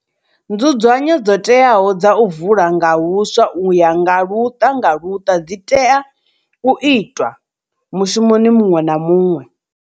Nzudzanyo dzo teaho dza u vula nga huswa u ya nga luṱa nga luṱa dzi ḓo tea u itwa mushumoni muṅwe na muṅwe.